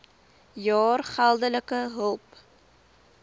jaar geldelike hulp